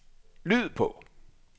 lyd på